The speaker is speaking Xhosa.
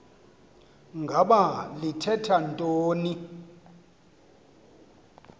ngaba lithetha ntoni